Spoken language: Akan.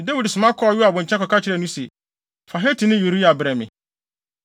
Enti Dawid soma kɔɔ Yoab nkyɛn kɔka kyerɛɛ no se, “Fa Hetini Uria brɛ me.”